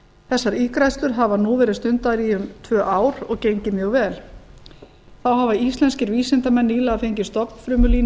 þessar ígræðslur hafa nú verið stundaðar í um tvö ár og gengið mjög vel þá hafa íslenskir vísindamenn nýlega fengið stofnfrumulínu